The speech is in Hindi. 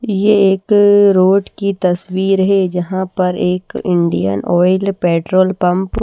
ये एक रोड की तस्वीर है जहां पर एक इंडियन ऑयल पेट्रोल पंप --